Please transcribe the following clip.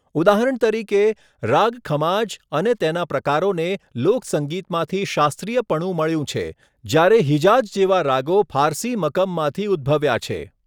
ઉદાહરણ તરીકે, રાગ ખમાજ અને તેના પ્રકારોને લોક સંગીતમાંથી શાસ્ત્રીયપણું મળ્યું છે, જ્યારે હિજાઝ જેવા રાગો ફારસી મકમમાંથી ઉદ્ભવ્યા છે.